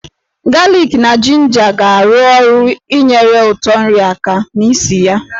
Galik na jinja ga-arụ ọrụ inyere ụtọ nri aka na ísì ya.